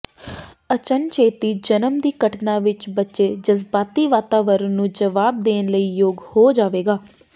ਅਚਨਚੇਤੀ ਜਨਮ ਦੀ ਘਟਨਾ ਵਿੱਚ ਬੱਚੇ ਜਜ਼ਬਾਤੀ ਵਾਤਾਵਰਣ ਨੂੰ ਜਵਾਬ ਦੇਣ ਲਈ ਯੋਗ ਹੋ ਜਾਵੇਗਾ